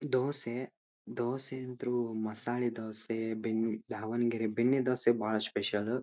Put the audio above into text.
ದೋಸೆ ದೋಸೆ ಅಂಥರು ಮಸಾಲೆ ದೋಸೆ ಧಾವಣಗೆರೆ ಬೆಣ್ಣೆ ದೋಸೆ ಬಹಳ ಸ್ಪೆಷಲ್ --